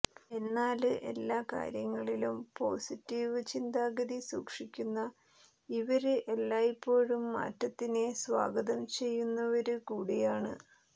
എന്നാല് എല്ലാ കാര്യങ്ങളിലും പോസിറ്റീവ് ചിന്താഗതി സൂക്ഷിക്കുന്ന ഇവര് എല്ലായ്പ്പോഴും മാറ്റത്തിനെ സ്വാഗതം ചെയ്യുന്നവര് കൂടിയാണ്